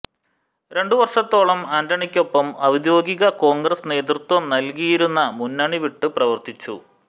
രണ്ടു വർഷത്തോളം ആന്റണിക്കൊപ്പം ഔദ്യോഗിക കോൺഗ്രസ് നേതൃത്വം നൽകിയിരുന്ന മുന്നണി വിട്ട് പ്രവർത്തിച്ചു